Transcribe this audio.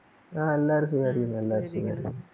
ആ എല്ലാരും സുഖായിരിക്കുന്നു എല്ലാരും സുഖായിരിക്കുന്നു